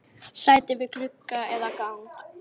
Sæti við glugga eða gang?